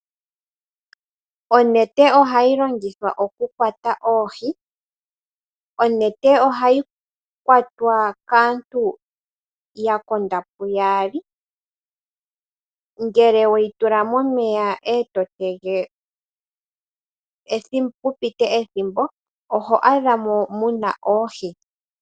Onete ohayi longithwa oku kwata oohi, onete ohayi kwatwa kaantu yakonda pu yaali ngele weyi tula momeya eto tege pu pite ethimbo oho adhamo muna oohi.